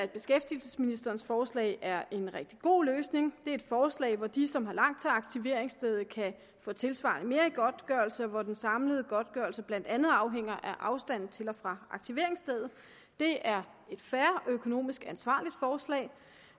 beskæftigelsesministerens forslag er en rigtig god løsning det er et forslag hvor de som har langt til aktiveringsstedet kan få tilsvarende mere i godtgørelse og hvor den samlede godtgørelse blandt andet afhænger af afstanden til og fra aktiveringsstedet det er et fair og økonomisk ansvarligt forslag